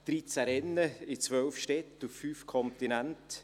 13 Rennen in 12 Städten auf 5 Kontinenten.